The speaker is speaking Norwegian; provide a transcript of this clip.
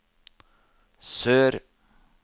sør